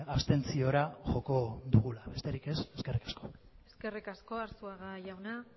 abstentziora joko dugula besterik ez eskerrik asko eskerrik asko arzuaga jauna